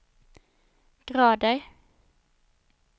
grader